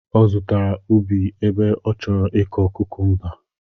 Ọ zụtara ubi ebe ọ chọrọ ịkọ kukumba